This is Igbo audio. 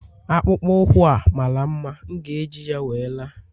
akpụkpọ ụkwụ a mara mma, m ga-eji ya wee la